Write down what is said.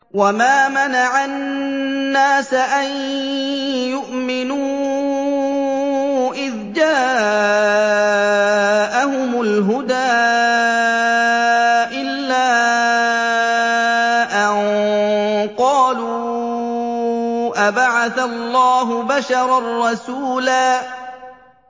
وَمَا مَنَعَ النَّاسَ أَن يُؤْمِنُوا إِذْ جَاءَهُمُ الْهُدَىٰ إِلَّا أَن قَالُوا أَبَعَثَ اللَّهُ بَشَرًا رَّسُولًا